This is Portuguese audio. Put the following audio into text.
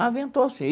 Ah, ventou sim.